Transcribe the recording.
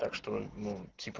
так что ну типо